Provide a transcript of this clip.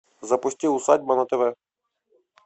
запусти усадьба на тв